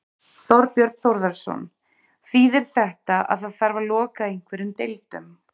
Þorbjörn Þórðarson: Þýðir þetta að það þarf að loka einhverjum deildum?